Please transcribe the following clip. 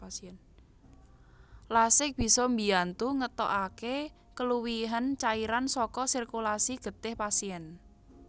Lasix bisa mbiyantu ngetokake keluwihen cairan saka sirkulasi getih pasien